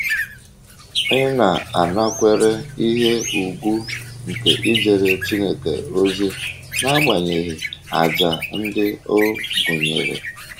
Ị̀ na - anakwere ihe ùgwù nke ijere Chineke ozi n’agbanyeghị àjà ndị ọ gụnyere?